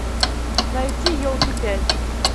найти елки пять